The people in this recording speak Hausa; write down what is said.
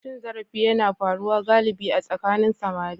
Cin zarafi yana faruwa galibi a tsakanin samari.